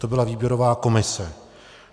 To byla výběrová komise.